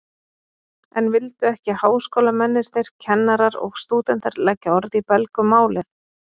En vildu ekki háskólamennirnir, kennarar og stúdentar, leggja orð í belg um málið?